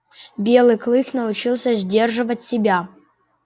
белый клык научился сдерживать себя